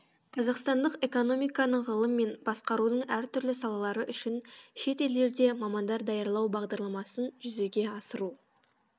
қазақстандық экономиканың ғылым мен басқарудың әртүрлі салалары үшін шетелдерде мамандар даярлау бағдарламасын жүзеге асыру